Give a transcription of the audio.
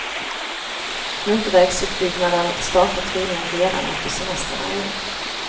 Motorvägsutbyggnaden startar troligen redan efter semestrarna i år.